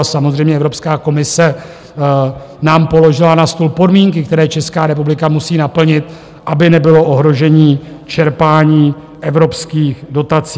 A samozřejmě Evropská komise nám položila na stůl podmínky, které Česká republika musí naplnit, aby nebylo ohroženo čerpání evropských dotací.